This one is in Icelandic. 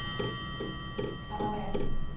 Þá er